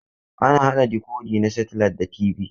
Ana haɗa dikodi na setilait da TV.